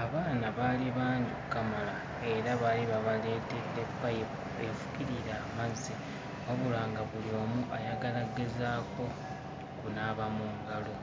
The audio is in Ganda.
Abaana baali bangi okkamala era baali babaleetedde payipu efukirira amazzi wabula nga buli omu ayagala ggezaako kunaaba mu ngalo,